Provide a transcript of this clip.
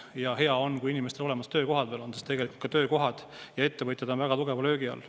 Ja hea on, kui inimestel on olemas töökohad, sest tegelikult ka töökohad ja ettevõtjad on väga tugeva löögi all.